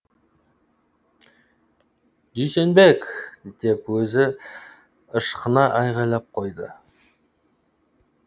дүйсенбек деп өзі ышқына айғайлап қояды